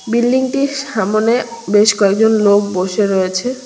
বিল্ডিংটির সামোনে বেশ কয়েকজন লোক বসে রয়েছে।